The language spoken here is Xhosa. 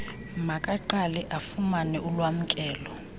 makaqale afumane ulwamkelo